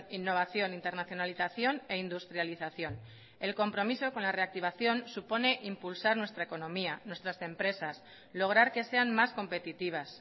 innovación internazionalización e industrialización el compromiso con la reactivación supone impulsar nuestra economía nuestras empresas lograr que sean más competitivas